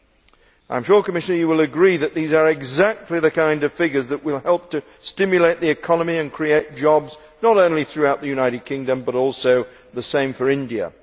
I am sure that the Commissioner will agree that these are exactly the kind of figures that will help to stimulate the economy and create jobs, not only throughout the United Kingdom, but also in India.